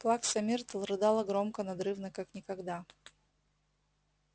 плакса миртл рыдала громко надрывно как никогда